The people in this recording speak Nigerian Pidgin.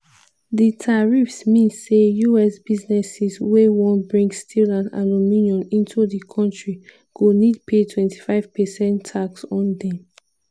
di tariffs mean say us businesses wey wan bring steel and aluminium into di kontri go need pay 25 percent tax on dem.